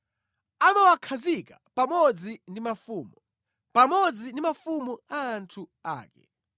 amawakhazika pamodzi ndi mafumu, pamodzi ndi mafumu a anthu ake.